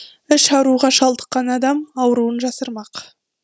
іш ауруға шалдыққан адам ауруын жасырмақ